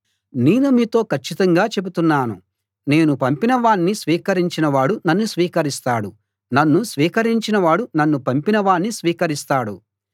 నేను మీతో కచ్చితంగా చెబుతున్నాను నేను పంపిన వాణ్ణి స్వీకరించిన వాడు నన్ను స్వీకరిస్తాడు నన్ను స్వీకరించినవాడు నన్ను పంపినవాణ్ణీ స్వీకరిస్తాడు